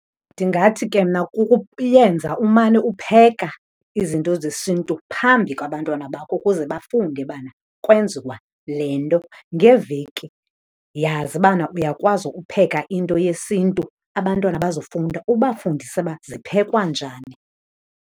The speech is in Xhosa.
Ndingathi ke mna kukuyenza umane upheka izinto zesintu phambi kwabantwana bakho ukuze bafunde bana kwenziwa le nto. Ngeveki yazi ubana uyakwazi upheka into yesintu abantwana bazofunda, ubafundise uba ziphekwa njani.